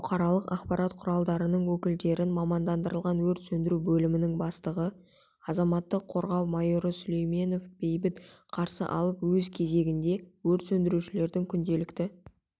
бұқаралық ақпарат құралдарының өкілдерін мамандандырылған өрт сөндіру бөлімінің бастығы азаматтық қорғау майоры сүлейменов бейбіт қарсы алып өз кезегінде өрт сөндірушілердің күнделікті